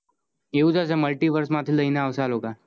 આવું થસે multiverse માઠી લઈ ને આવસે આ લોકો